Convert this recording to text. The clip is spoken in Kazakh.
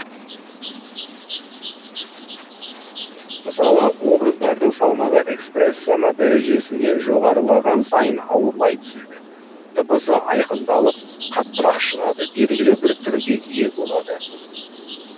мысалы образдардың салмағы экспрессема дәрежесінен жоғарылаған сайын ауырлай түседі дыбысы айқындалып қаттырақ шығады белгілі бір түрге ие болады